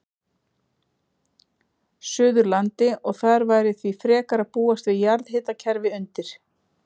Suðurlandi, og þar væri því frekar að búast við jarðhitakerfi undir.